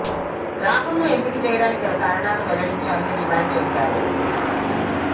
రాహుల్ ను ఎంపిక చేయడానికి గల కారణాలను వెల్లడించాలని డిమాండ్ చేశారు